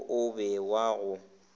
wo o be wa go